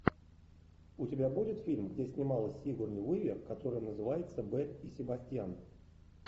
у тебя будет фильм где снималась сигурни уивер который называется белль и себастьян